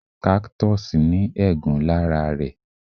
Cactus ní egún lára rẹ̀